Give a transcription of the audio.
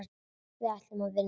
Við ætlum að vinna.